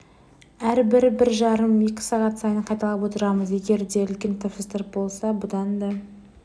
әрбір бір жарым екі сағат сайын қайталап отырамыз егер де үлкен тапсырыстар болса бұдан да